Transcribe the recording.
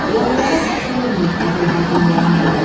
Yağılara baş əyməyib Azərbaycan qəhrəmanı.